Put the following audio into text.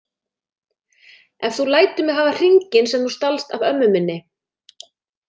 Ef þú lætur mig hafa hringinn sem þú stalst af ömmu minni